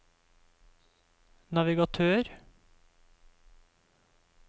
navigatør